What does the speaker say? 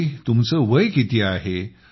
आणि तुमचे वय किती